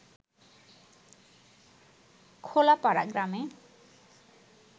খোলাপাড়া গ্রামে